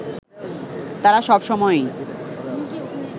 তারা সব সময়ই